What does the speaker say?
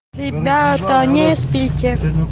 ребята не спите